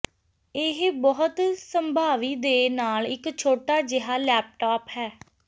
ਇਹ ਬਹੁਤ ਸੰਭਾਵੀ ਦੇ ਨਾਲ ਇੱਕ ਛੋਟਾ ਜਿਹਾ ਲੈਪਟਾਪ ਹੈ